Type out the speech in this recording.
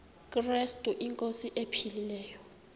krestu inkosi ephilileyo